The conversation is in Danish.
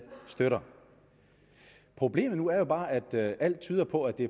støtter problemet nu er bare at alt tyder på at det